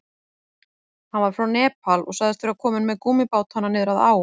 Hann var frá Nepal og sagðist vera kominn með gúmmíbátana niður að á.